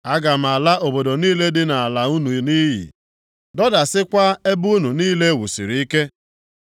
Aga m ala obodo niile dị nʼala unu nʼiyi, dọdasịakwa ebe unu niile e wusiri ike.